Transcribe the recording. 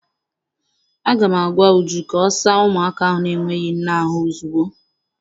Aga m agwa Uju ka ọ saa ụmụaka ahụ n'enweghị nne ahụ ozugbo!